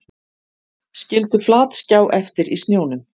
Skildu flatskjá eftir í snjónum